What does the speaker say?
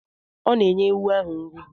Ọ na-enye ewu ahụ nri?